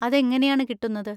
അതെങ്ങനെയാണ് കിട്ടുന്നത്?